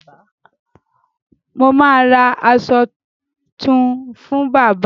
Mo ma ra aṣọ tún fún bábà